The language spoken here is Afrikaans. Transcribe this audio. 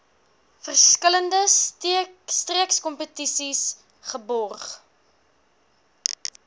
verskillende streekskompetisies geborg